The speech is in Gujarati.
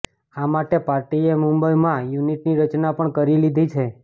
આ માટે પાર્ટીએ મુંબઇમાં યુનિટની રચના પણ કરી લીધી છે